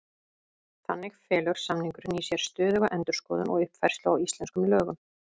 Þannig felur samningurinn í sér stöðuga endurskoðun og uppfærslu á íslenskum lögum.